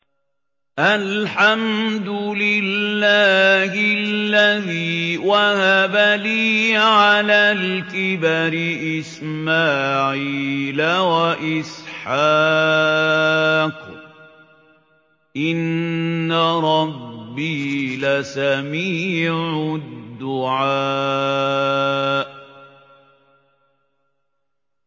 الْحَمْدُ لِلَّهِ الَّذِي وَهَبَ لِي عَلَى الْكِبَرِ إِسْمَاعِيلَ وَإِسْحَاقَ ۚ إِنَّ رَبِّي لَسَمِيعُ الدُّعَاءِ